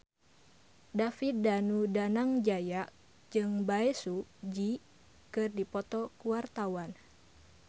David Danu Danangjaya jeung Bae Su Ji keur dipoto ku wartawan